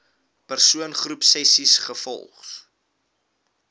persoon groepsessies volgens